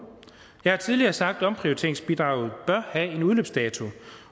jeg har tidligere sagt at omprioriteringsbidraget bør have en udløbsdato